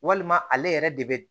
Walima ale yɛrɛ de bɛ